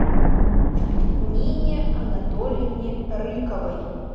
нине анатольевне рыковой